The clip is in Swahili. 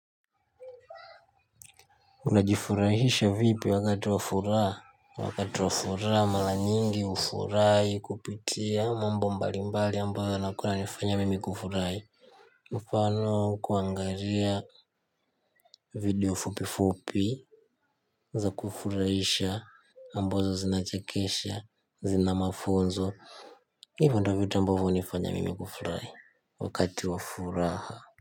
Unajifurahisha vipi wakati wa furaha, wakati wa furaha mara nyingi hufurahi kupitia mambo mbali mbali ambayo yanakua yananifanya mimi kufurahi mfano kuangalia video fupi fupi za kufurahisha ambazo zinachekesha zina mafunzo hivyo ndio vitu ambavyo hunifanya mimi kufurahi wakati wa furaha.